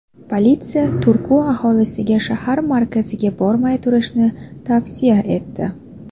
Politsiya Turku aholisiga shahar markaziga bormay turishni tavsiya etdi.